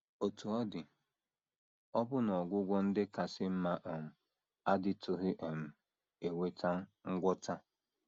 Otú ọ dị, ọbụna ọgwụgwọ ndị kasị mma um adịtụghị um eweta ngwọta.